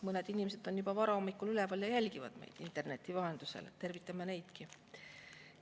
Mõned inimesed on juba varahommikul üleval ja jälgivad meid interneti vahendusel, tervitame neidki!